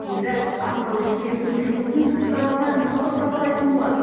енді атқарушы биліктің жұмысын қарапайым халық бағалайтын болады